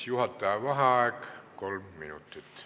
Juhataja vaheaeg kolm minutit.